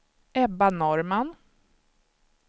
Ebba Norrman